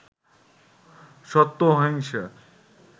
সত্য, অহিংসা